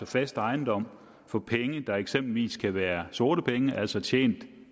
fast ejendom for penge der eksempelvis kan være sorte altså tjent